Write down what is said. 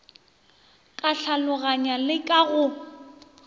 ka tlhaloganyo le ka go